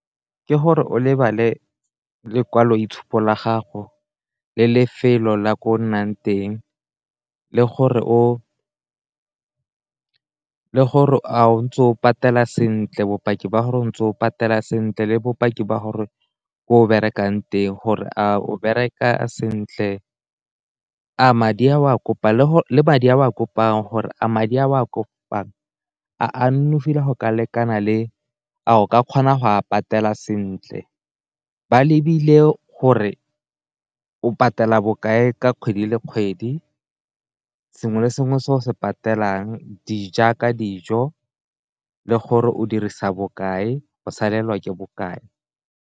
Ke gore o lebale lekwalo itshupo la gago le lefelo la ko o nnang teng le gore a o ntse o patela sentle, bopaki ba gore o ntse o patela sentle le bopaki ba gore ko o berekang teng gore a o bereka sentle, gore a madi a o a kopang a nonofile go ka lekana le a o ka kgona go a patela sentle, ba lebile gore o patela bokae ka kgwedi le kgwedi sengwe le sengwe se o se patelang jaaka dijo le gore o dirisa bokae o salelwa ke bokae.